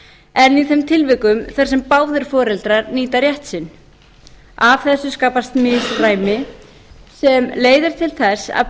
en í þeim tilvikum þar sem báðir foreldrar nýta rétt sinn af þessu skapast misræmi sem leiðir til þess að